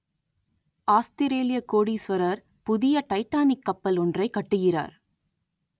ஆஸ்திரேலியக் கோடீஸ்வரர் புதிய டைட்டானிக் கப்பல் ஒன்றைக் கட்டுகிறார்